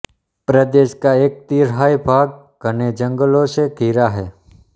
प्रदेश का एक तिहाई भाग घने जंगलों से घिरा है